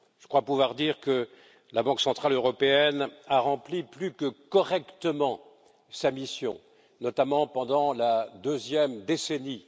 Je crois pouvoir dire que la Banque centrale européenne a rempli plus que correctement sa mission, notamment pendant la deuxième décennie.